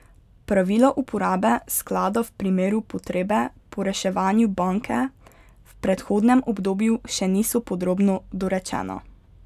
Pravila uporabe sklada v primeru potrebe po reševanju banke v prehodnem obdobju še niso podrobno dorečena.